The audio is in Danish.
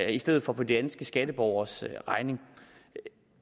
i stedet for på danske skatteborgeres regning